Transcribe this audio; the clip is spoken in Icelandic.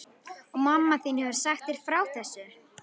Og mamma þín hefur sagt þér frá þessu?